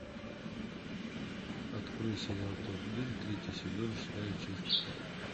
открой сериал топ гир третий сезон шестая часть